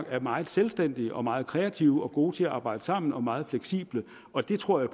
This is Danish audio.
er meget selvstændige og meget kreative og gode til at arbejde sammen og meget fleksible og det tror